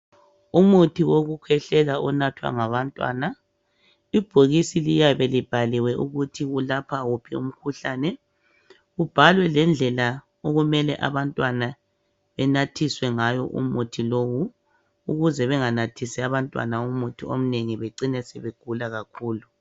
Umuthi wokukhwehlela onathwa ngabantwana. Ibhokisi liyabe libhaliwe ukuthi kulapha wuphi umkhuhlane, kubhalwe lendlela okumele abantwana benathiswe ngayo umuthi lowu, ukuze benganathisi abantwana umuthi ominengi becine sebegula kakhulu.